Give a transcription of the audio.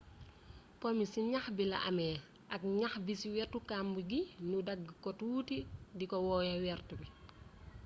po mi ci ñax bi la amé ak ñax bi ci wétu kamb gi ñu dagg ko tuuti té diko woowé wéert bi